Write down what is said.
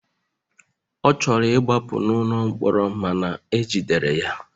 Ọ chọrọ ịgbapụ n'ụlọ mkpọrọ mana ejidere ya.